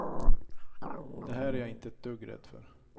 Det här är jag inte ett dugg rädd för.